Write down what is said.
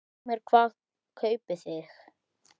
Heimir: Hvað kaupið þið?